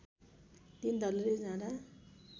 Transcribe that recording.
दिन ढल्कँदै जाँदा